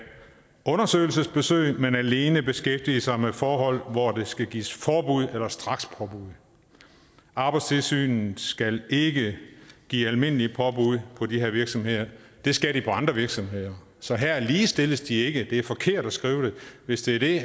undersøgelsesbesøg men alene beskæftige sig med forhold hvor der skal gives forbud eller strakspåbud arbejdstilsynet skal ikke give almindelige påbud på de her virksomheder det skal de på andre virksomheder så her ligestilles de ikke det er forkert at skrive det hvis det er det